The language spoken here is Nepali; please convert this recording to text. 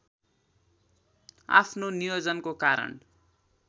आफ्नो नियोजनको कारण